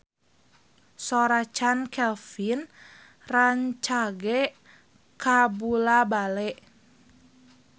Sora Chand Kelvin rancage kabula-bale